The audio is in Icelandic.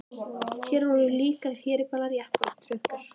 Hér voru líka herbílar, jeppar og trukkar.